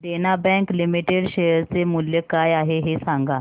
देना bank limited share चे मूल्य काय आहे हे सांगा